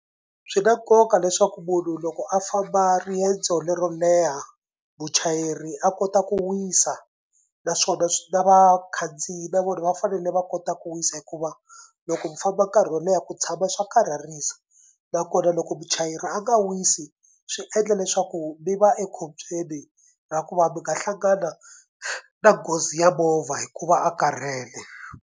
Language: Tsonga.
Swi na nkoka leswaku munhu loko a famba riendzo lero leha muchayeri a kota ku wisa naswona swi na vakhandziyi va vona va fanele va kota ku wisa hikuva loko mi famba nkarhi wo leha ku tshama swa karhalisa nakona loko muchayeri a nga wisi swi endla leswaku mi va ekhombyeni ra ku va mi nga hlangana na nghozi ya movha hikuva a karhele.